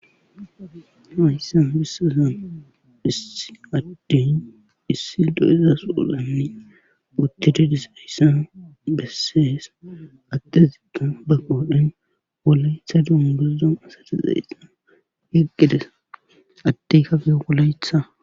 hayssan besizay issi addin issi do7ezasuulanne butididis hayssan bessees attezito ba qoodhen wolayetha duun guzdon asadizayssa heqqides attey kafe wolayetha